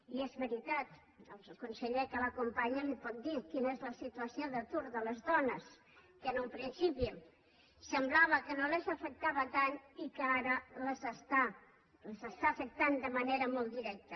i és veritat el conseller que l’acompanya li pot dir quina és la situació d’atur de les dones que en un principi semblava que no les afectava tant i que ara les està afectant de manera molt directa